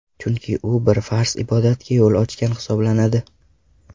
Chunki u bir farz ibodatga yo‘l ochgan hisoblanadi.